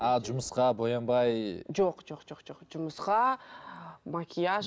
а жұмысқа боянбай жоқ жоқ жоқ жоқ жұмысқа макияж